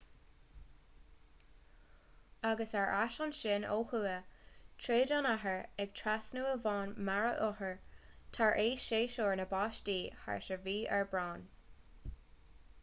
agus ar ais ansin ó thuaidh tríd an iarthar ag trasnú abhainn mara athuair tar éis shéasúr na báistí thart ar mhí aibreáin